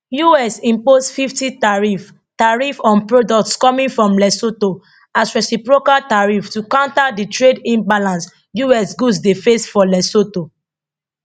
us impose 50 tariff tariff on products coming from lesotho as reciprocal tariff to counter di trade imbalance us goods dey face for lesotho